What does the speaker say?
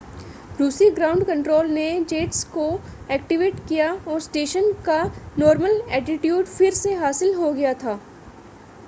रूसी ground control ने jets को एक्टिवेट किया और स्टेशन का नॉर्मल एटिट्यूड फिर से हासिल हो गया था